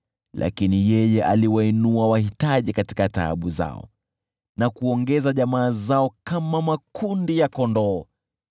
Lakini yeye aliwainua wahitaji katika taabu zao, na kuongeza jamaa zao kama makundi ya kondoo.